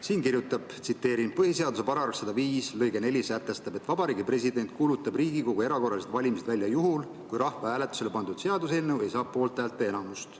Siin kirjutatakse, et põhiseaduse § 105 lõige 4 sätestab, et Vabariigi President kuulutab Riigikogu erakorralised valimised välja juhul, kui rahvahääletusele pandud seaduseelnõu ei saa poolthäälte enamust.